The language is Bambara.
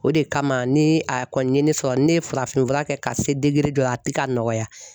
O de kama ni a kɔni ye ne sɔrɔ ne ye farafinfura kɛ ka se degere dɔ la a tɛ ka nɔgɔya